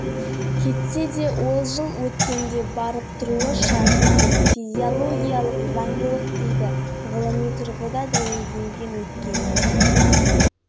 жоқ алайда балалық шағы өткен биік белеске жетелеген ауылы тозып қаңырап бос қалса жүрегі ауырмайтын